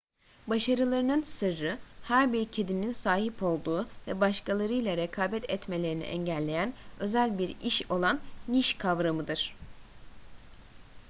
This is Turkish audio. başarılarının sırrı her bir kedinin sahip olduğu ve başkalarıyla rekabet etmelerini engelleyen özel bir iş olan niş kavramıdır